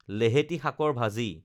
লেহেতি শাকৰ ভাজি